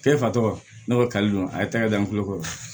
E fa tɔgɔ ne ko kalidɔ a ye taɲa da n kulo kɔrɔ